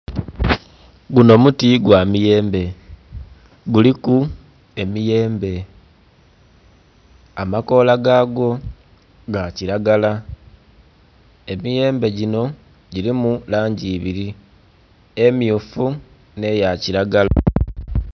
Gunho muti gwa miyembe. Guliku emiyembe, amakoola ga gwo ga kilagala, emiyembe ginho gilimu langi ibili, emmyufu nh'eya kilagala.